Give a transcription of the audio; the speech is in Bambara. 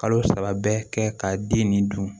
Kalo saba bɛ kɛ ka den nin dun